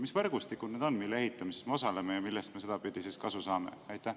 Mis võrgustikud need on, mille ehitamises me osaleme ja millest me sedapidi kasu saame?